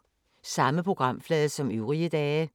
Samme programflade som øvrige dage